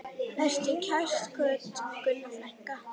Vertu kært kvödd, Gunna frænka.